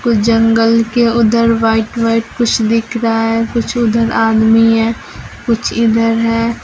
जंगल के उधर white white कुछ दिख रहा है कुछ उधर आदमी है कुछ इधर है।